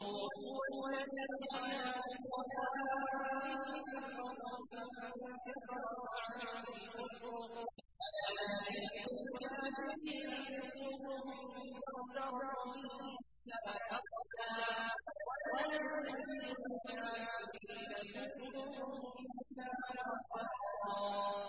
هُوَ الَّذِي جَعَلَكُمْ خَلَائِفَ فِي الْأَرْضِ ۚ فَمَن كَفَرَ فَعَلَيْهِ كُفْرُهُ ۖ وَلَا يَزِيدُ الْكَافِرِينَ كُفْرُهُمْ عِندَ رَبِّهِمْ إِلَّا مَقْتًا ۖ وَلَا يَزِيدُ الْكَافِرِينَ كُفْرُهُمْ إِلَّا خَسَارًا